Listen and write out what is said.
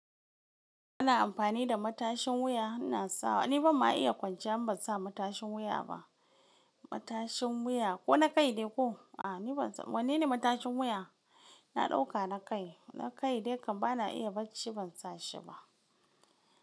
Ana amfani da matashin wuya ina sawa. Ni ban ma iya kwanciya, ban sa matashin wuya ba. Matashin wuya ko na kai dai ko? A ni ban sa, wanne ne matashin wuya? Na ɗauka na kai. Na kai dai kam bana iya bacci ban sa shi ba.